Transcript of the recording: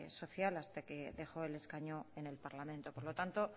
social hasta que dejó el escaño en el parlamento por lo tanto